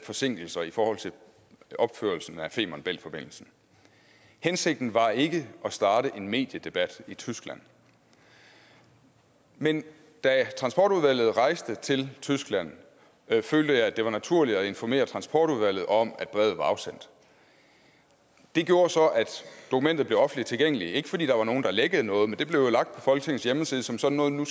forsinkelser i forhold til opførelsen af femern bælt forbindelsen hensigten var ikke at starte en mediedebat i tyskland men da transportudvalget rejste til tyskland følte jeg det var naturligt at informere transportudvalget om at brevet var afsendt det gjorde så at dokumentet blev offentligt tilgængeligt ikke fordi der var nogen der lækkede noget men det blev lagt på folketingets hjemmeside som sådan noget nu